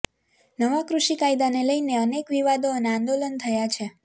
નવા કૃષિ કાયદાને લઈને અનેક વિવાદો અને આંદોલન થયા છે